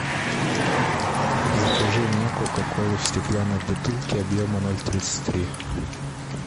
закажи мне кока колу в стеклянной бутылке объема ноль тридцать три